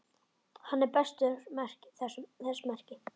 Hann ber þess merki